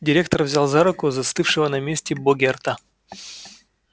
директор взял за руку застывшего на месте богерта